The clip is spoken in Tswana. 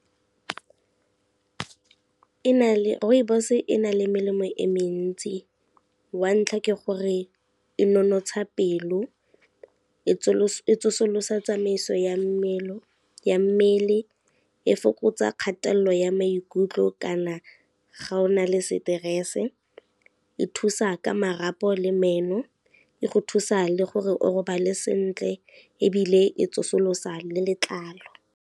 Rooibos e na le melemo e mentsi wa ntlha ke gore, e nonotsha pelo, e tsosolosa tsamaiso ya mmele, e fokotsa kgatelelo ya maikutlo kana ga o na le seterese, e thusa ka marapo le meno, e go thusa le gore o robale sentle ebile e tsosolosa le letlalo.